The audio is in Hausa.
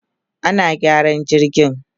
ana gyaran jirgin